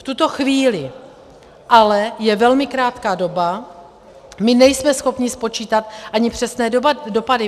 V tuto chvíli je ale velmi krátká doba, my nejsme schopni spočítat ani přesné dopady.